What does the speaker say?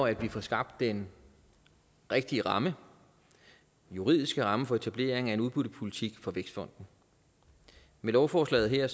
at vi får skabt den rigtige ramme juridiske ramme for etablering af en udbyttepolitik for vækstfonden med lovforslaget her